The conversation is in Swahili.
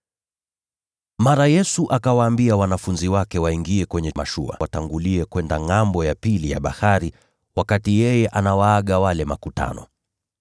Mara Yesu akawaambia wanafunzi wake waingie kwenye mashua watangulie kwenda ngʼambo ya bahari, wakati yeye alikuwa akiwaaga wale makutano.